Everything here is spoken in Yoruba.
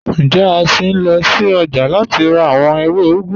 Njẹ̀, a ṣín lọ sí ọ́jà láti rà awọn èwé úgù?